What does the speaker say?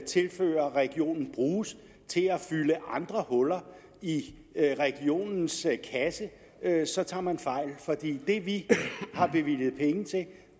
tilfører regionen kan bruges til at fylde andre huller i regionens kasse så tager man fejl for det vi har bevilget penge til